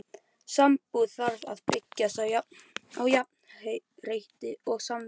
Sambúð þarf að byggjast á jafnrétti og samningsvilja.